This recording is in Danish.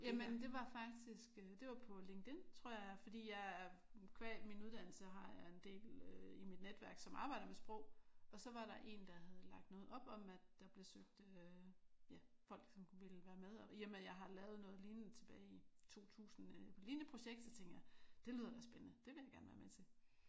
Jamen det var faktisk øh det var på LinkedIn tror jeg fordi jeg qua min uddannelse har jeg en del i mit netværk som arbejder med sprog og så var der en der havde lagt noget op om at der blev søgt folk som ville være med og i og med at jeg har lavet noget lignende tilbage i 2000 lignende projekt så tænkte jeg det lyder da spændende. Det vil jeg gerne være med til